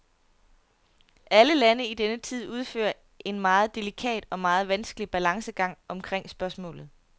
Alle lande i denne tid udfører en meget delikat og meget vanskelig balancegang omkrig spørgsmålet.